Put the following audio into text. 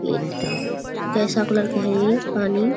ये कैसा कलर का है ये पानी।